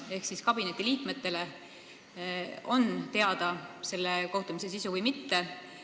Ehk kas kabineti liikmetele on teada selle kohtumise sisu või mitte?